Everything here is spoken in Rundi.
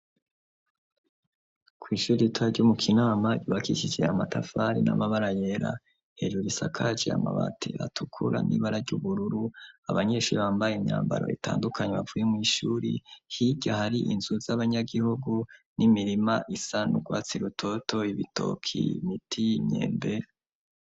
Kw'ishuri ritoya ry'umu kinama ibakikiciye amatavari n'amabara yera hejuri isakaci amabati atukura n'ibara ry'ubururu abanyeshuri bambaye imyambaro itandukanye bavuye mu ishuri hijyo hari inzu z'abanyagihugu n'imirima isanugwatsi rutoto ibitoki miti nyembe